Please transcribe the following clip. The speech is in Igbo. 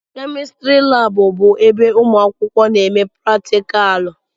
Kemịstrị laabụ bụ ebe ụmụ akwụkwọ na-eme pratikaalụ.